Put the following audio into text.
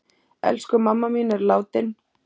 Elsku mamma mín er látin.